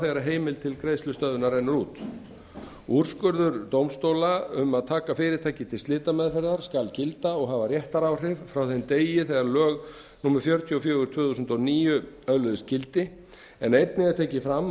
þegar heimild til greiðslustöðvunar rennur út úrskurður dómstóla um að taka fyrirtæki til slitameðferðar skal gilda og hafa réttaráhrif frá þeim degi þegar lög númer fjörutíu og fjögur tvö þúsund og níu öðluðust gildi en einnig er tekið fram